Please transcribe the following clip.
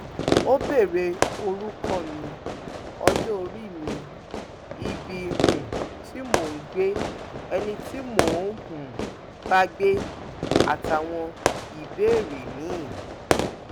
ó béèrè orúkọ mi ọjọorí mi ibi um tí mò ń gbé ẹni tí mò ń um bá gbé àtàwọn ìbéèrè miín